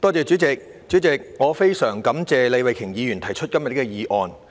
主席，我十分感謝李慧琼議員提出今天的議案。